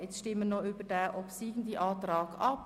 Nun stimmen wir noch über den obsiegenden Antrag ab.